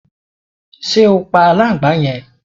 Ṣe o pa aláǹgbàá yẹn?